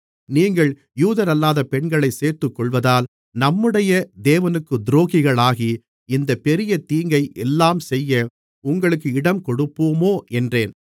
நீங்கள் யூதரல்லாத பெண்களைச் சேர்த்துக்கொள்வதால் நம்முடைய தேவனுக்குத் துரோகிகளாகி இந்தப் பெரிய தீங்கை எல்லாம் செய்ய உங்களுக்கு இடங்கொடுப்போமோ என்றேன்